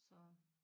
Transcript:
Så